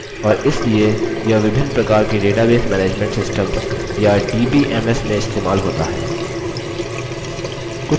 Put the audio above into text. और इसलिए यह विभिन्न प्रकार के database management systems या dbms में इस्तेमाल होता है